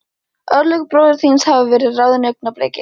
Örlög bróður þíns hafa verið ráðin á augnabliki.